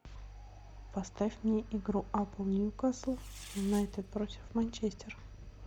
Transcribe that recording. поставь мне игру апл ньюкасл юнайтед против манчестер